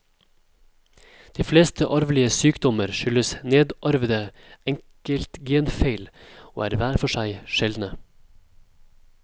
De fleste arvelige sykdommer skyldes nedarvede enkeltgenfeil og er hver for seg sjeldne.